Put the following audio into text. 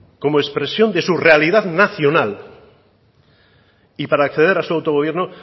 como expresión de su realidad nacional y para acceder a su autogobierno